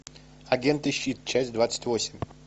агенты щит часть двадцать восемь